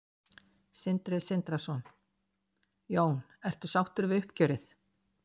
Sindri Sindrason: Jón ertu sáttur við uppgjörið?